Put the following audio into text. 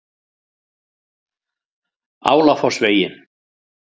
Álafossvegi